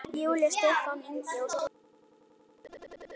Júlía, Stefán Ingi og Svanur.